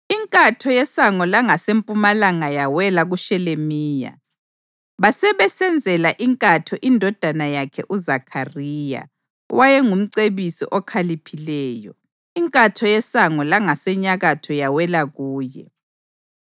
Inkatho yeSango langaseMpumalanga yawela kuShelemiya. Basebesenzela inkatho indodana yakhe uZakhariya owayengumcebisi okhaliphileyo, inkatho yeSango langaseNyakatho yawela kuye.